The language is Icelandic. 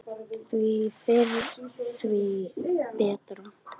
Því fyrr því betra.